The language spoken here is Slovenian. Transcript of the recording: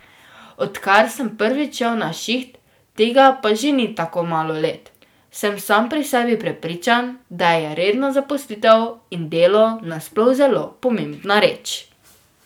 Odkar sem prvič šel na šiht, tega pa že ni tako malo let, sem sam pri sebi prepričan, da je redna zaposlitev in delo nasploh zelo pomembna reč.